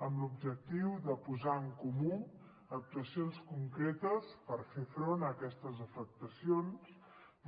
amb l’objectiu de posar en comú actuacions concretes per fer front a aquestes afectacions